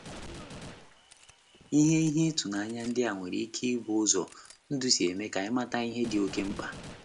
Ihe Ihe ịtụnanya ndị a nwere ike ịbụ ụzọ ndụ si eme ka anyị mata ihe dị okeh mkpa